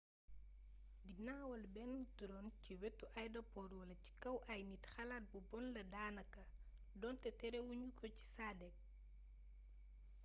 di nawal bénn drone ci wétu aydapor wala ci kaw ay nit xalaat bu bon la daanaka donté téréwugnuko ci sad eek